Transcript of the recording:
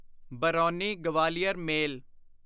brownie Gwalior ਮੇਲ